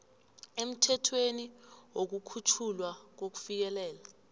emthethweni wokukhutjhulwa kokufikelela